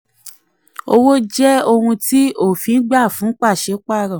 34. owó jẹ́ ohun tí òfin gba fún pàṣípàrọ̀.